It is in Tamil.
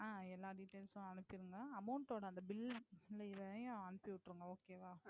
அஹ் எல்லா யும் அனுப்பிடுங்க Amount ஓட அந்த Bill இதையும் அனுப்பி விட்டுருங்க Okay வா.